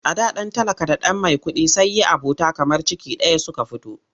A da ɗan talaka da ɗan maikuɗi sai yi abota kamar ciki ɗaya suka fito.